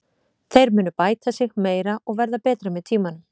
Þeir munu bæta sig meira og verða betri með tímanum.